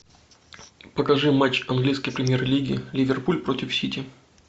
покажи матч английской премьер лиги ливерпуль против сити